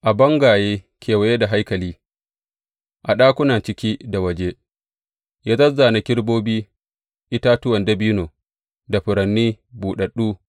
A bangaye kewaye da haikali, a ɗakuna ciki da waje, ya zāzzāna kerubobi, itatuwan dabino, da furanni buɗaɗɗu.